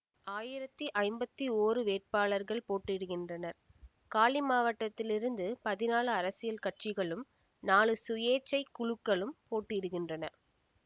ஆயிரத்தி ஐம்பத்தி ஓரு வேட்பாளர்கள் போட்டியிடுகின்றனர் காலி மாவட்டத்தில் இருந்து பதினாலு அரசியல் கட்சிகளும் நாலு சுயேச்சை குழுக்களும் போட்டியிடுகின்றன